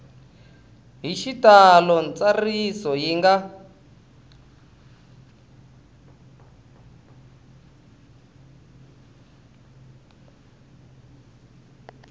hi xitalo ntsariso yi nga